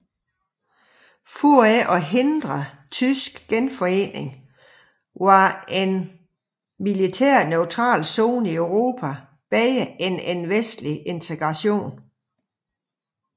For ikke at hindre tysk genforening var en militært neutral zone i Europa bedre end vestlig integration